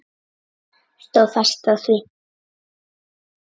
Stóð fast á því.